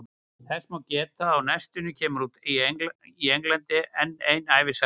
Þess má geta að á næstunni kemur út í Englandi enn ein ævisaga hans.